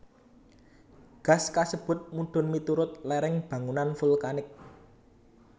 Gas kasebut mudhun miturut lereng bangunan vulkanik